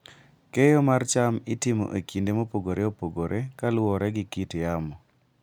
Keyo mar cham itimo e kinde mopogore opogore kaluwore gi kit yamo.